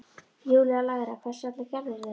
Júlía lægra: Hvers vegna gerðirðu þetta?